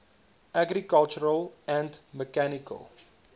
agricultural and mechanical